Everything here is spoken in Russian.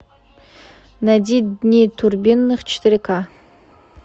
найди дни турбиных четыре ка